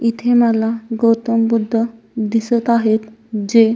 इथे मला गौतम बुद्ध दिसत आहेत जे--